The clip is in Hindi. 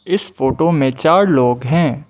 इस फोटो में चार लोग हैं।